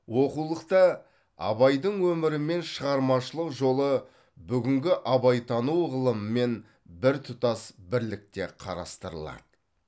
оқулықта абайдың өмірі мен шығармашылық жолы бүгінгі абайтану ғылымымен біртұтас бірлікте қарастырылады